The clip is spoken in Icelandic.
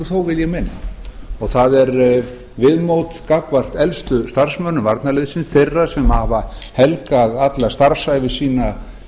þó vil ég meina og það er viðmót gagnvart elstu starfsmönnum varnarliðsins þeirra sem hafa helgað alla starfsævi sína